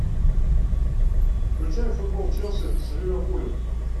включай футбол челси с ливерпулем